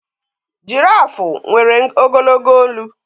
Girafu nwere ogologo olu